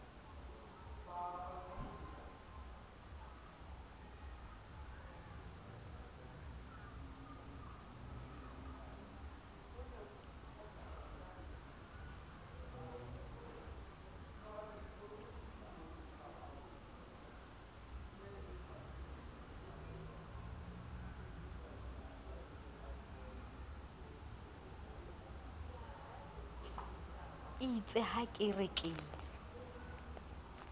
eitse ha ke re ke